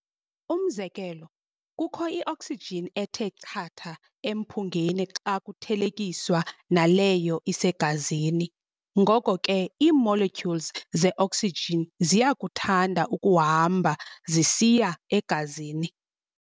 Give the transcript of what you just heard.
Umzekelo, kukho i-oxygen ethe chatha emphungeni xa kuthelekiswa naleyo isegazini, ngoko ke ii-molecules ze-oxygen ziyakuthanda ukuhamba zisiya egazini.